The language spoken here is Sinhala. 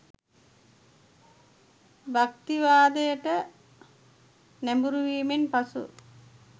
භක්තිවාදයට නැඹුරුවීමෙන් පසු